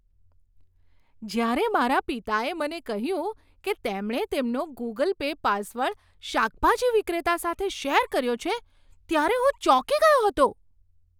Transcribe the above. જ્યારે મારા પિતાએ મને કહ્યું કે તેમણે તેમનો ગૂગલ પે પાસવર્ડ શાકભાજી વિક્રેતા સાથે શેર કર્યો છે ત્યારે હું ચોંકી ગયો હતો.